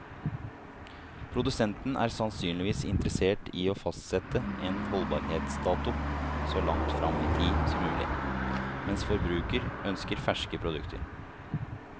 Produsenten er sannsynligvis interessert i å fastsette en holdbarhetsdato så langt frem i tid som mulig, mens forbruker ønsker ferske produkter.